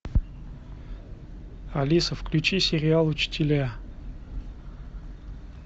алиса включи сериал учителя